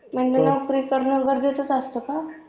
म्हणजे नोकरी करणे गरजेचंच असत का